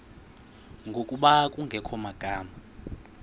ngokuba kungekho magama